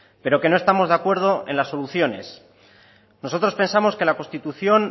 pero que no estamos de acuerdo en las soluciones nosotros pensamos que la constitución